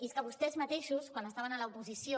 i és que vostès mateixos quan estaven a l’oposició